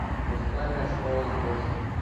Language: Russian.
музыкальная школа звезд